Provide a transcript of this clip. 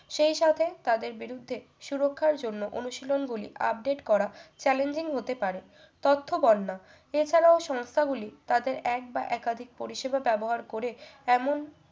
সেই সাথে তাদের বিরুদ্ধে সুরক্ষার জন্য অনুশীলনগুলী update করা challenging হতে পারো তথ্য বন্যা এছাড়াও সংস্থাগুলি তাদের এক বা একাধিক পরিষেবা ব্যবহার করে এমন